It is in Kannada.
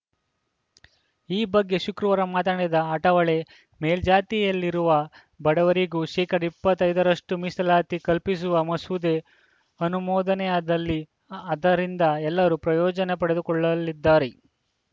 ಈ ಬಗ್ಗೆ ಶುಕ್ರವಾರ ಮಾತನಾಡಿದ ಅಠಾವಳೆ ಮೇಲ್ಜಾತಿಯಲ್ಲಿರುವ ಬಡವರಿಗೂ ಶೇಕಡಾ ಇಪ್ಪತ್ತ್ ಐದರಷ್ಟುಮೀಸಲಾತಿ ಕಲ್ಪಿಸುವ ಮಸೂದೆ ಅನುಮೋದನೆಯಾದಲ್ಲಿ ಆ ಅದರಿಂದ ಎಲ್ಲರೂ ಪ್ರಯೋಜನೆ ಪಡೆದುಕೊಳ್ಳಲಿದ್ದಾರೆ